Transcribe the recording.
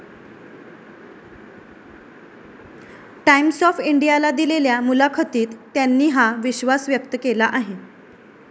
Times of इंडियाला दिलेल्या मुलाखतीत त्यांनी हा विश्वास व्यक्त केला आहे.